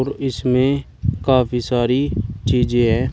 और इसमें काफी सारी चीजें हैं।